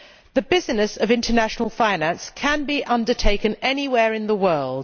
The business of international finance can be undertaken anywhere in the world.